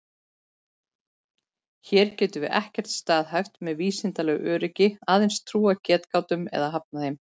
Hér getum við ekkert staðhæft með vísindalegu öryggi, aðeins trúað getgátum eða hafnað þeim.